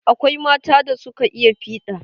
Akwai mata da suka iya fiɗa.